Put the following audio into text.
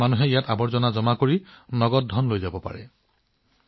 ইয়াৰ উদ্দেশ্য হৈছে আৱৰ্জনা দিয়া আৰু তাৰ বিনিময়ত নগদ ধন লোৱা